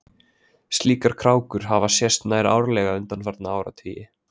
Slíkar krákur hafa sést nær árlega undanfarna áratugi.